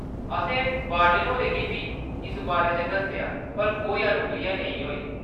असें वार्डन होरें गी बी इस बारे च दस्सेआ पर कोई अनुक्रिया नेईं होई।